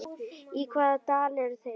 Í hvaða dal eru þeir?